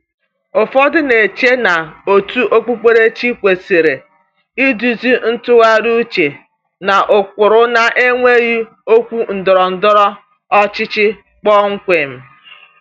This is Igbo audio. Ụfọdụ na-eche na òtù okpukperechi kwesịrị iduzi ntụgharị uche n’ụkpụrụ na-enweghị okwu ndọrọ ndọrọ ọchịchị kpọmkwem.